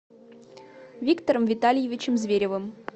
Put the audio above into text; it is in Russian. виктором витальевичем зверевым